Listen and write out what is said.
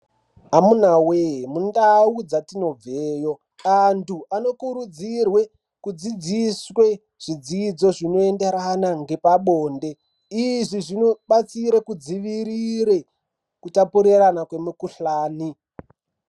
Amuna wee mundau dzatinobveyo andu anokurudzirwe kudzidziswe zvidzidzo zvinoenderana ngepabonde izvi zvobatsire kudzivirire kutapurira kwemukuhlani.